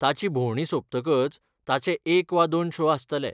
ताची भोंवडी सोंपतकच ताचे एक वा दोन शो आसतले.